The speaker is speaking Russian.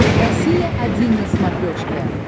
россия один на смотрешке